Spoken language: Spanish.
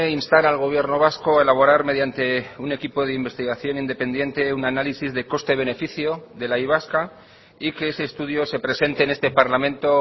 instar al gobierno vasco a elaborar mediante un equipo de investigación independiente un análisis de coste beneficio de la y vasca y que ese estudio se presente en este parlamento